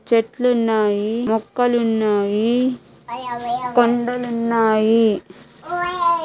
చెట్లున్నాయి మొక్కలున్నాయి కొండలున్నాయి.